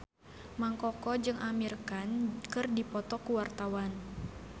Mang Koko jeung Amir Khan keur dipoto ku wartawan